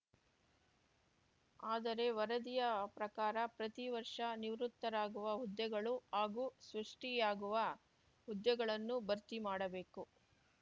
ಆದರೆ ವರದಿಯ ಪ್ರಕಾರ ಪ್ರತಿ ವರ್ಷ ನಿವೃತ್ತರಾಗುವ ಹುದ್ದೆಗಳು ಹಾಗೂ ಸೃಷ್ಟಿಯಾಗುವ ಹುದ್ದೆಗಳನ್ನು ಭರ್ತಿ ಮಾಡಬೇಕು